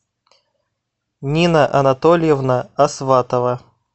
нина анатольевна асватова